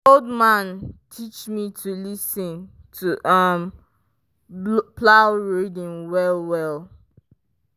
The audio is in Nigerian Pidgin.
old man teach me to lis ten to um plow rhythm well well.